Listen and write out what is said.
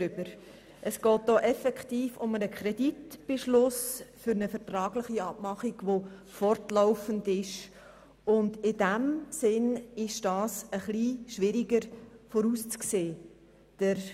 Hier geht es um einen Kreditbeschluss für eine vertragliche Abmachung, die fortlaufend und daher etwas schwieriger vorauszusehen ist.